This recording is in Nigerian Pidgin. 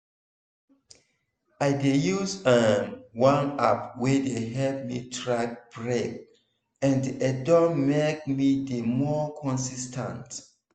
i dey use um one app wey dey help me track break and e don make me dey more consis ten t.